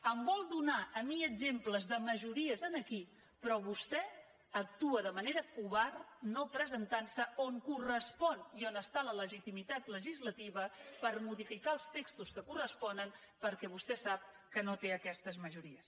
em vol donar a mi exemples de majories aquí però vostè actua de manera covarda no presentant se on correspon i on està la legitimitat legislativa per modificar els textos que corresponen perquè vostè sap que no té aquestes majories